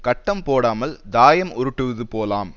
கட்டம் போடாமல் தாயம் உருட்டுவது போலாம்